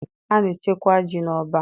A na-echekwa ji n'ọbá